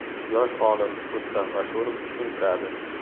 Yosh olim Rustam Ashurov tushuntiradi.